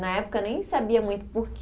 Na época nem sabia muito porquê.